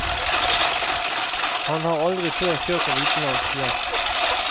Han har aldri før kjørt en utenlandsk gjest.